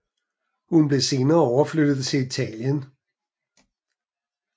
Han blev senere overflyttet til Italien